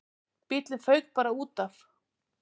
Bíllinn fauk bara útaf.